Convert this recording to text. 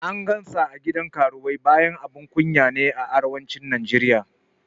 An gan sa a gidan karuwai bayan abun kunya ne a Arewacin Najeriya